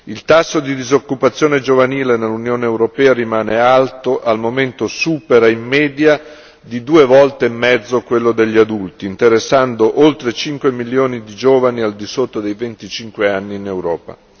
Il tasso di disoccupazione giovanile nell'Unione europea rimane alto, al momento supera in media di due volte e mezzo quello degli adulti, interessando oltre cinque milioni di giovani al di sotto dei venticinque anni in Europa.